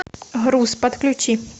груз подключи